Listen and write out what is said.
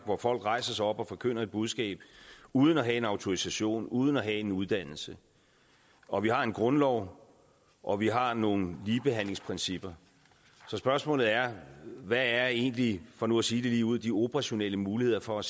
hvor folk rejser sig op og forkynder et budskab uden at have en autorisation uden at have en uddannelse og vi har en grundlov og vi har nogle ligebehandlingsprincipper så spørgsmålet er hvad er egentlig for nu at sige det ligeud de operationelle muligheder for at